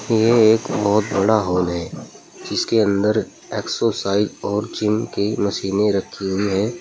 ये एक बहुत बड़ा हाल है जिसके अंदर एक्सरसाइज और जिम की मशीने रखी हुई है।